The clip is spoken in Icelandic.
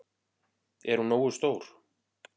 Er hún nógu stór?